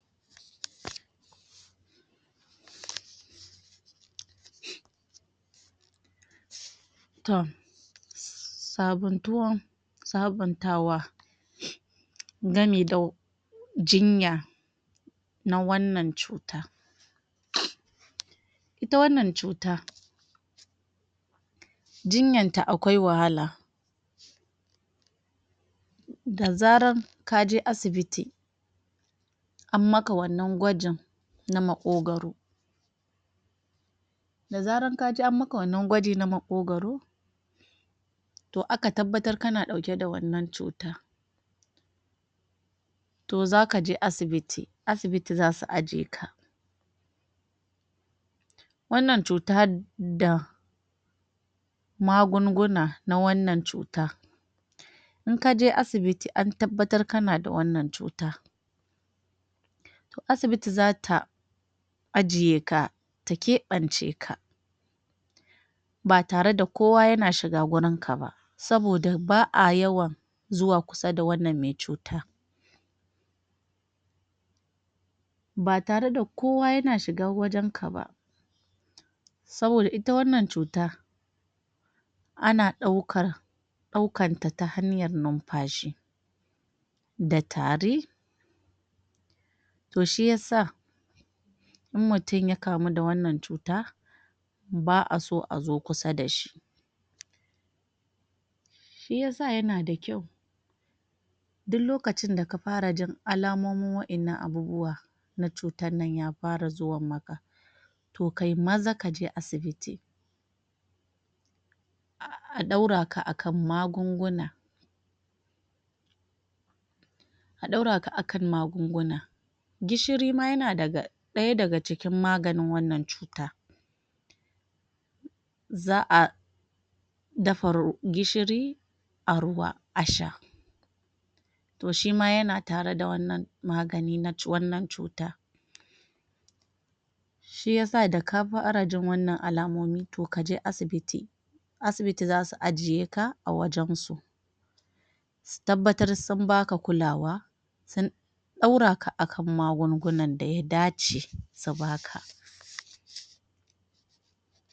Tom, sabantuwan sabantawa gami da jinya na wannan cuta. Ita wannan cuta jinyanta aƙwai wahala. Da zaran ka je asibiti an maka wannan gwajin na maƙogwaro da zaran ka je an maka wannan gwaji na maƙogwaro to aka tabbatar kana ɗauke da wannan cuta to za ka je asibiti, asibiti za su ajiye ka. Wannan cuta da magunguna na wannan cuta in ka je asibiti an tabbatar kana da wannan cuta to asibiti za ta aje ka ta keɓance ka ba tare da kowa yana shiga gurinka ba saboda ba a yawan zuwa kusa da wannan me cuta ba tare da kowa yana shiga wajenka ba, saboda ita wannan cuta ana ɗaukar ɗaukanta ta hanyar nunfashi da tari. To shi ya sa in mutun ya kamu da wannan cuta ba a so a zo kusa da shi. Shi ya sa yana da kyau duk lokacin da ka fara jin alamomin wa'innan abubuwa na cutan nan ya fara zuwan maka to ka yi maza ka je asibiti a ɗaura ka a kan magunguna a ɗaura ka a kan magunguna. Gishiri ma yana daga ɗaya daga cikin maganin wannan cuta, za a dafa ru gishiri a ruwa a sha to shi ma yana tare da wannan magani na wannan cuta. Shi ya sa da ka fara jin wannan alamomi to ka je asibiti. Asibiti za su ajiye ka a wajansu su tabbatar sun ba ka kulawa sun ɗaura ka a kan magungunan da ya dace su ba ka.